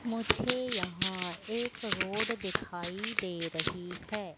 मुझे यहां एक रोड दिखाई दे रही है।